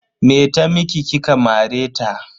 Me ta miki kika mare ta?